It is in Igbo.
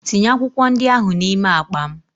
Tinye akwụkwọ ndị ahụ n'ime akpa m!